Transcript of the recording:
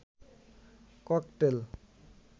cocktail